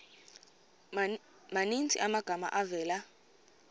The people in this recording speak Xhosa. maninzi amagama avela